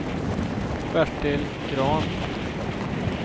Bertil Grahn